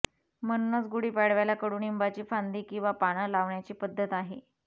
म्हणूनच गुढीपाडव्याला कडूनिंबाची फांदी किंवा पानं लावण्याची पद्धत आहे